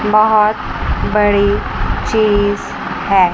बहोत बड़ी चीज है।